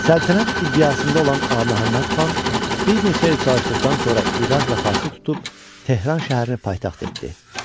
Səltənət iddiasında olan Ağaməhəmməd xan bir neçə il çalışdıqdan sonra İraq və Farsı tutub Tehran şəhərini paytaxt etdi.